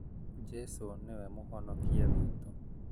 Jesũ nĩwe mũhonokia witũ